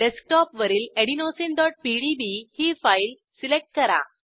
डेस्कटॉपवरील adenosineपीडीबी ही file select करा